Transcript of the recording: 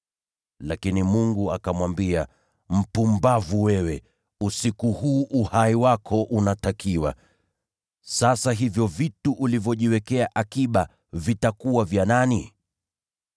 “Lakini Mungu akamwambia, ‘Mpumbavu wewe! Usiku huu uhai wako unatakiwa. Sasa hivyo vitu ulivyojiwekea akiba vitakuwa vya nani?’